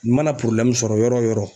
Ni mana sɔrɔ yɔrɔ o yɔrɔ